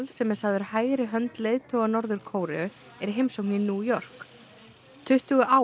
sem er sagður hægri hönd leiðtoga Norður Kóreu er í heimsókn í New York tuttugu ár